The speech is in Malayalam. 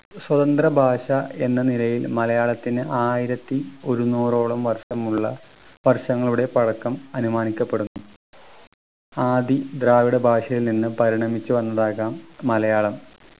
സ്വതന്ത്ര ഭാഷ എന്ന നിലയിൽ മലയാളത്തിന് ആയിരത്തി ഒരുന്നൂറോളം വർഷം ഉള്ള വർഷങ്ങളുടെ പഴക്കം അനുമാനിക്കപ്പെടുന്നു ആദി ദ്രാവിഡ ഭാഷയിൽ നിന്നും പരിണമിച്ചു വന്നതാകാം മലയാളം